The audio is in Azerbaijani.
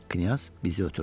Knyaz bizi ötürdü.